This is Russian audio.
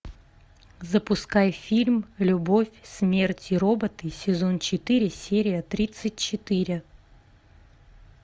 запускай фильм любовь смерть и роботы сезон четыре серия тридцать четыре